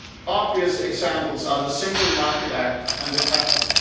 Obvious examples are the Single Market Act and the patent.